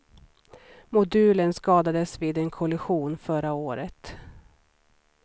Modulen skadades vid en kollision förra året.